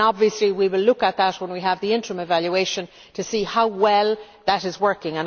Obviously, we will look at that when we have the interim evaluation to see how well that is working.